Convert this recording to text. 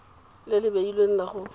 le le beilweng la go